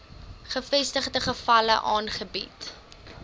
bevestigde gevalle aangebied